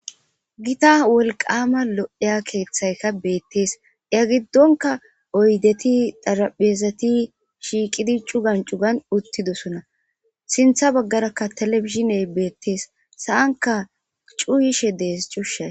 Gitta wolqaama lo'eya keeththayka beettees iya giddonka oydeti daraphezati shiiqidi cugan cugan uttidosona sintha baggarakka telefishiney beettees sa'anka cuuyishe dees cuushshay